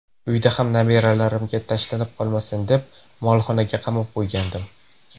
Uyda ham nabiralarimga tashlanib qolmasin deb, molxonaga qamab qo‘ygandim.